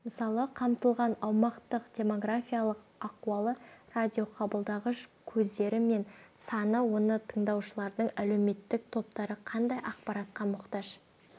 мысалы қамтылған аумақтың демографиялық ахуалы радиоқабылдағыш көздері мен саны оны тыңдаушылардың әлеуметтік топтары қандай ақпаратқа мұқтаж